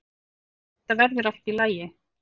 Þetta verður allt í lagi.